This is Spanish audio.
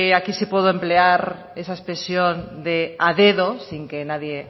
aquí sí puedo emplear esa expresión de a dedo sin que nadie